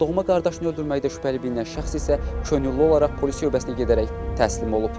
Doğma qardaşını öldürməkdə şübhəli bilinən şəxs isə könüllü olaraq polis şöbəsinə gedərək təslim olub.